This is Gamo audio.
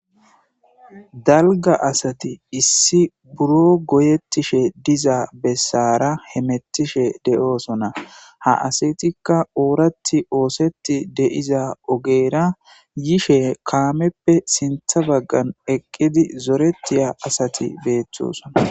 dalga asati issi buro goyettishe diza bessara hemettishe de7oosona ha asitikka ooratti oosetti de7iza ogeera yishe kaameppe sintha baggan eqqidi zoretiya asati beetthoson